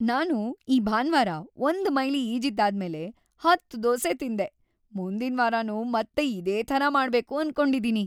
ನಾನು ಈ ಭಾನ್ವಾರ ಒಂದು ಮೈಲಿ ಈಜಿದ್ದಾದ್ಮೇಲೆ ಹತ್ತು ದೋಸೆ ತಿಂದೆ. ಮುಂದಿನ್ವಾರನೂ ಮತ್ತೆ ಇದೇ ಥರ ಮಾಡ್ಬೇಕು ಅನ್ಕೊಂಡಿದೀನಿ.